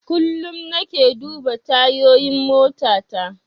Kullum nake duba tayoyin motata.